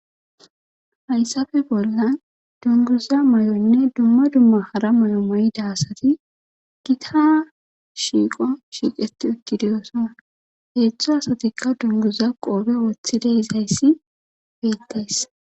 hayssafe bolla dunguza may7onne dumma dumma hara may7o moyida asati gita shiiqo shiiqeti ekkidiyosona heetzdtzho asatikka dunguza qoobe woththide izayssi beettays